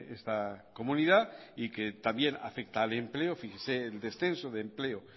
esta comunidad y que también afecta el empleo fíjese el descenso de empleo